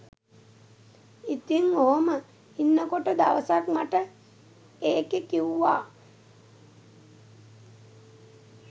ඉතින් ඔහොම ඉන්නකොට දවසක් මට එකේ කිවුවා